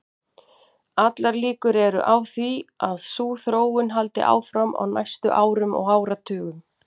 Allar líkur eru á því að sú þróun haldi áfram á næstu árum og áratugum.